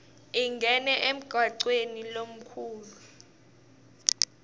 ingene emgwacweni lomkhulu